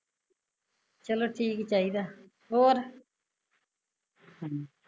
ਚਲੋ ਠੀਕ ਹੀਂ ਚਾਹੀਦਾ, ਹੋਰ ਹਮ